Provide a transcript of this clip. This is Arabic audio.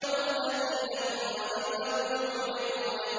وَالَّذِينَ هُمْ عَنِ اللَّغْوِ مُعْرِضُونَ